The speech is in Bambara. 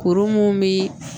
Kuru mun bi